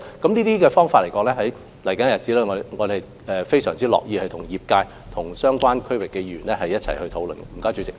就這些想法，在未來的日子，我們非常樂意與業界及相關地區的議員一起討論。